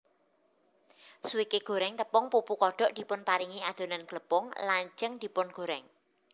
Swike goreng tepung pupu kodok dipunparingi adonan glepung lajeng dipungorèng